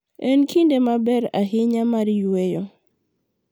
En kinde maber ahinya mar yueyo.